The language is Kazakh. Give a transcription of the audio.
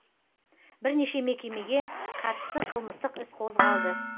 бірнеше мекемеге қатысты қылмыстық іс қозғалды